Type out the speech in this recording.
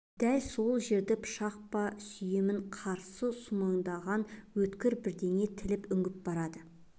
дәл сол жерін пышақ па сүйемін қарыс сумаңдаған өткір бірдеңе тіліп үңгіп барады